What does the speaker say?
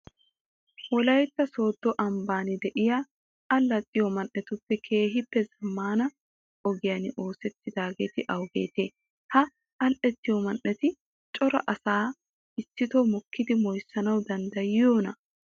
Wolaytta sooddo ambban de'iya allaxxiyo man"etuppe keehippe zammaana ogiyan oosettidaageeti awugeetee? Ha allaxxiyo man"eti cora asaa issitoo mokkidi moyssanawu danddayiyoonaa?